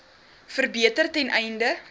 verbeter ten einde